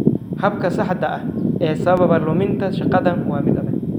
Habka saxda ah ee sababa luminta shaqadan waa mid adag.